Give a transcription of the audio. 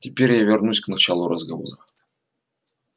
теперь я вернусь к началу разговора